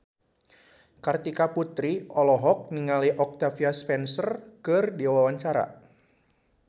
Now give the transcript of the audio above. Kartika Putri olohok ningali Octavia Spencer keur diwawancara